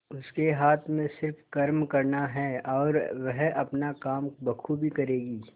उसके हाथ में सिर्फ कर्म करना है और वह अपना काम बखूबी करेगी